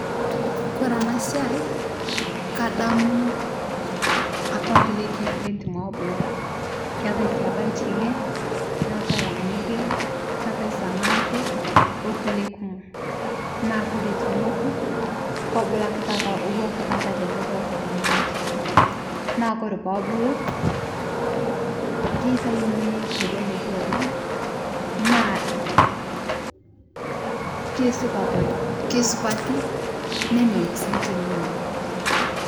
Kore ana siai kadamuu apaa lkulie keek lentim ebuluu, keatai sii apa lching'ee neatai lamuria neatai sanankur olkulie kumoo naa kore tonokuu kobuluu akee taata atuwaa ake alee taata lidolitaa tenee ng'hojii naa kore peebulu keitainoi teleleki oleng' naa keisupat, keisupatii nemelok sii tininyaa.